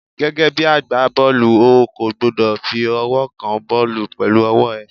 Gẹ́gẹ́ bí agbá bọ́ọ̀lù, o kò gbúdọ̀ fi ọwọ́ kan bọ́ọ̀lù pẹ̀lú ọwọ́ ẹ.